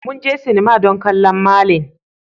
Mun je sinima don kallon Merlin.